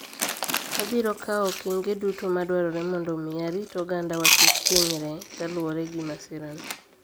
Abirokawo okenge duto madwarore mondo omi arit oganda wa kik hinyre kaluwore gi masira ni